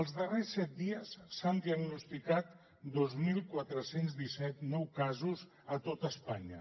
els darrers set dies s’han diagnosticat dos mil quatre cents i disset nous casos a tot espanya